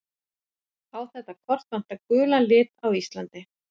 á þetta kort vantar gulan lit á íslandi